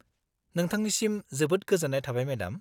-नोंथांनिसिम जोबोद गोजोन्नाय थाबाय मेडाम।